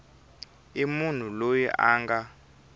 i munhu loyi a nga